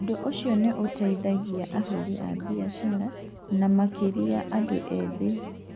Ũndũ ũcio nĩ ũgũteithagia ahũri biacara na ahũri biacara, na makĩria andũ ethĩ.